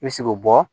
I bɛ se k'o bɔ